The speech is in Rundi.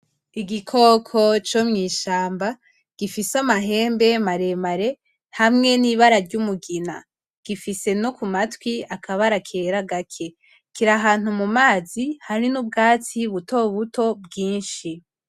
Igikoko co mwishamba gifise amahembe maremare hamwe n’ibara ry’umugina . Gifise no ku matwi akabara kera gake . Kiri ahantu mu mazi hari n’ubwatsi buto buto bwinshi .